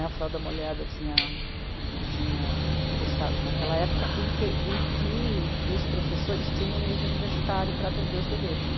A Frauda Molhada tinha... tinha fechado naquela época e que, e que os professores tinham nível universitário para atender os bebês.